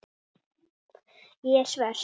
Ég er svört.